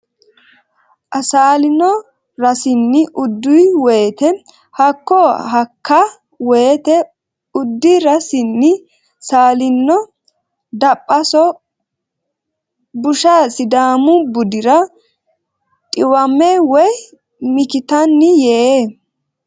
a saalino rasinni uddi woyte Hakka Hakka woyte uddi rasinni saalino Daphaso busha Sidaamu budira dhiwame woy mikitanni Yee !